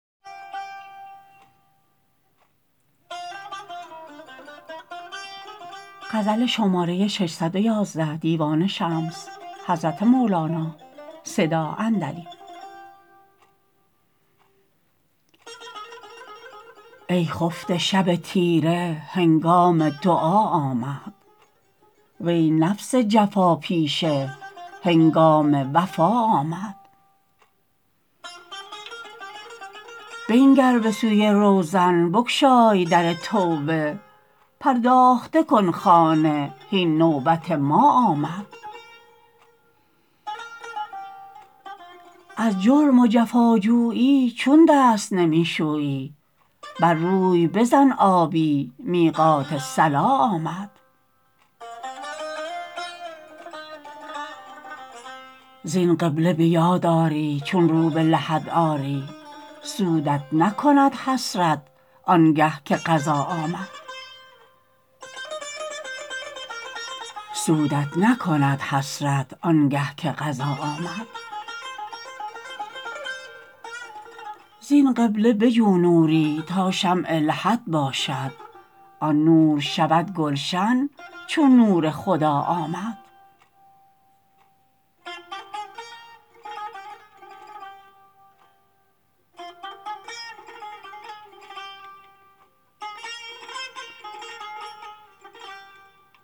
ای خفته شب تیره هنگام دعا آمد وی نفس جفاپیشه هنگام وفا آمد بنگر به سوی روزن بگشای در توبه پرداخته کن خانه هین نوبت ما آمد از جرم و جفاجویی چون دست نمی شویی بر روی بزن آبی میقات صلا آمد زین قبله به یاد آری چون رو به لحد آری سودت نکند حسرت آنگه که قضا آمد زین قبله بجو نوری تا شمع لحد باشد آن نور شود گلشن چون نور خدا آمد